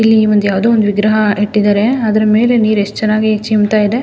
ಇಲ್ಲಿ ಯಾವುದೊ ಒಂದ್ ವಿಗ್ರಹ ಇಟ್ಟಿದ್ದಾರೆ ಅದರ ಮೇಲೆ ನೀರು ಎಸ್ಟ್ ಚೆನ್ನಾಗಿ ಚಿಮ್ತಾ ಇದೆ.